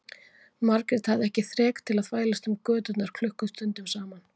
Margrét hafði ekki þrek til að þvælast um göturnar klukkustundum saman.